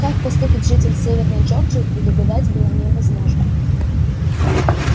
как поступит житель северной джорджии предугадать было невозможно